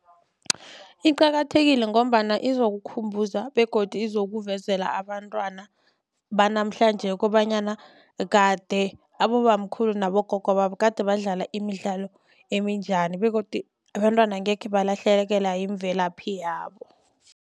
Iqakathekile ngombana izokukhumbuza begodu izokuvezela abantwana banamhlanje kobanyana kade abobamkhulu nabogogo babo kade badlala imidlalo eminjani begodu abantwana angekhe balahlekelwa yimvelaphi yabo.